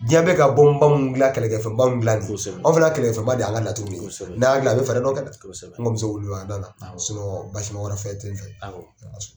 Diɲɛ bɛ ka mun kɛlɛkɛ fɛnba mun dilan ni ye, kosɛbɛ an fana ka kɛlɛkɛ fɛnba de y'an ka laturu ye, kosɛbɛ, n'an y'a dilan a bi fɛɛrɛ dɔ kɛ dɛ, kosɛbɛ, n kɔni, bɛ se ko basi wɛrɛ ma fɛn tɛ ye nɔ,